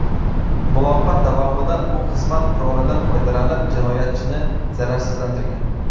Muloqot davomida u xizmat qurolidan foydalanib, jinoyatchini zararsizlantirgan.